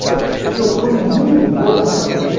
Então, eu estou em muito boa companhia.